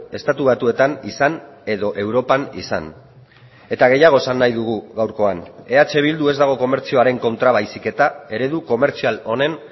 estatu batuetan izan edo europan izan eta gehiago esan nahi dugu gaurkoan eh bildu ez dago komertzioaren kontra baizik eta eredu komertzial honen